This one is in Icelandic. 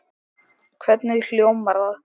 Hvernig hljómar það?